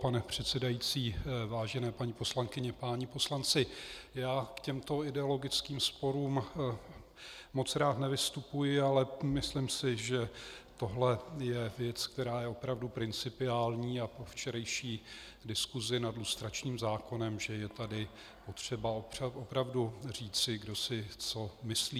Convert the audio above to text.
Pane předsedající, vážené paní poslankyně, páni poslanci, já k těmto ideologickým sporům moc rád nevystupuji, ale myslím si, že toto je věc, která je opravdu principiální, a po včerejší diskusi nad lustračním zákonem že je tady potřeba opravdu říci, kdo si co myslí.